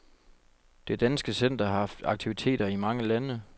Det danske center har haft aktiviteter i mange lande.